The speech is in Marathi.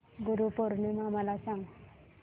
गुरु पौर्णिमा मला सांग